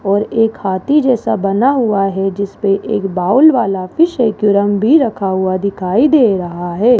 और एक हाथी जैसा बना हुआ है जीसपे एक बाउल वाला फिश एक्वेरियम भी रखा हुआ दिखाई दे रहा है।